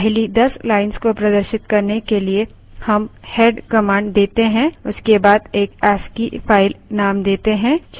एक file की पहली 10 lines को प्रदर्शित करने के लिए हम head command देते हैं उसके बाद एक ascii file नेम देते हैं